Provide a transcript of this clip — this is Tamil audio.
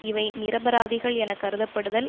இவை நிரபராதிகள் என கருதப்படுதல்